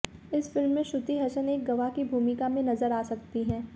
इस फ़िल्म में श्रुति हसन एक गवाह की भूमिका में नज़र आ सकती हैं